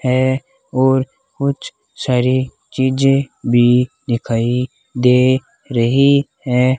है और कुछ सारी चीजे भी दिखाई दे रही है।